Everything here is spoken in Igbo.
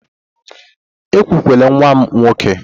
Ekwukwala nwa m nwoke!